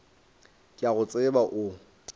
ke a go tseba o